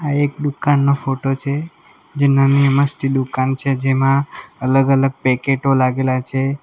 એક દુકાન નો ફોટો છે જે નાની ની મસ્તી દુકાન છે જેમાં અલગ અલગ પેકેટો લાગેલા છે.